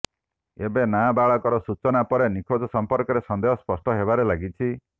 ଏବେ ନାବାଳକର ସୂଚନା ପରେ ନିଖୋଜ ସମ୍ପର୍କରେ ସନ୍ଦେହ ସ୍ପଷ୍ଟ ହେବାରେ ଲାଗିଛି